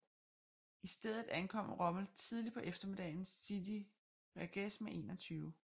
I stedet angreb Rommel tidligt på eftermiddagen Sidi Rezegh med 21